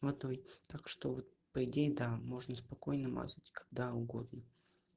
водой так что по идее да можно спокойно мазать когда угодно